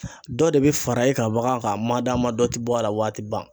Dɔ de bɛ fara e ka bagan kan a ma da ma dɔ te bɔ a la w'a ti ban